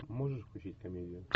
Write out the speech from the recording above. можешь включить комедию